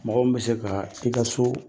Mɔgɔ min bɛ se ka i ka so